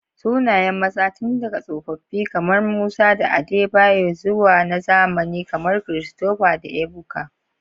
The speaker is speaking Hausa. Sunayen maza tun daga tsofaffi kamar Musa da Adebayor zuwa na zamani kamar Christopher da Ebuka.